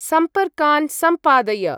सम्पर्कान् सम्पादय।